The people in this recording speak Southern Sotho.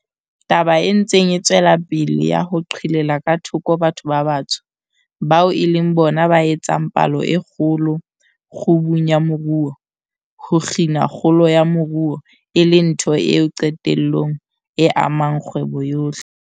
Taba e ntseng e tswela pele ya ho qhelela ka thoko batho ba batsho, bao e leng bona ba etsang palo e kgolo, kgubung ya moruo, ho kgina kgolo ya moruo, e le ntho eo qetellong e amang kgwebo yohle.